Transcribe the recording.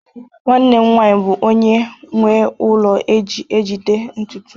nwanne m nwanyi bu onye nwe ulo eji ejiji ntutu